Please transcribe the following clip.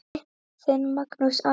Þinn, Magnús Andri.